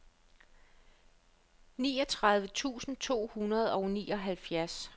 niogtredive tusind to hundrede og nioghalvfjerds